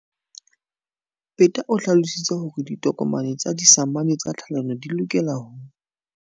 Peta o hlalositse hore ditokomane tsa disamane tsa tlhalano di lokela ho.